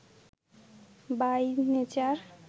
by nature